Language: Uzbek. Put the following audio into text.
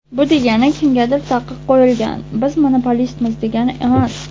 Bu degani kimgadir taqiq qo‘yilgan, biz monopolistmiz degani emas.